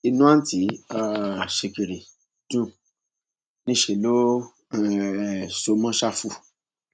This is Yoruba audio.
inú àùntí um sìkìrì dùn níṣẹ ló um so mọ ṣáfù